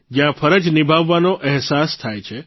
જયાં ફરજ નિભાવવાનો અહેસાસ થાય છે